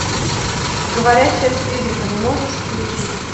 говорящая с призраками можешь включить